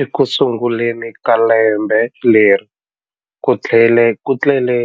Ekusunguleni ka lembe leri, ku tlhele